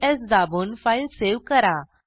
Ctrl S दाबून file save करा